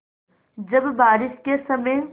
जब बारिश के समय